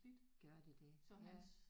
Gør de det ja